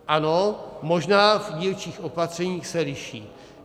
Ano, možná v dílčích opatřeních se liší.